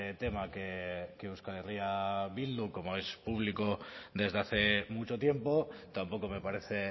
tema que euskal herria bildu como es público desde hace mucho tiempo tampoco me parece